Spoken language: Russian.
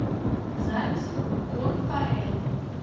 запись конфаэль